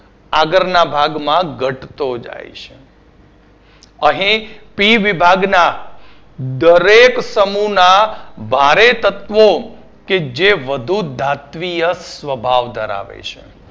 આગળના ભાગમાં ઘટતો જાય છે અહીં P વિભાગના દરેક સમુહના ભારે તત્વો જે વધુ ધાત્વિય સ્વભાવ ધરાવે છે.